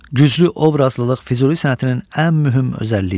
Güclü obrazlılıq Füzuli sənətinin ən mühüm özəlliyidir.